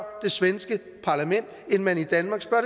det svenske parlament end man i danmark spørger